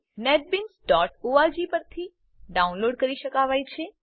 netbeansઓર્ગ પરથી ડાઉનલોડ કરી શકાવાય છે